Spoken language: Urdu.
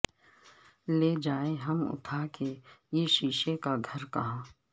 لے جائیں ہم اٹھا کے یہ شیشے کا گھر کہاں